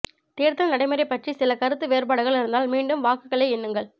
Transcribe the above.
தேர்தல் நடைமுறை பற்றி சில கருத்து வேறுபாடுகள் இருந்தால் மீண்டும் வாக்குகளை எண்ணுங்கள்